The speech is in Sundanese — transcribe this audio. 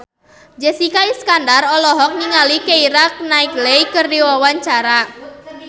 Jessica Iskandar olohok ningali Keira Knightley keur diwawancara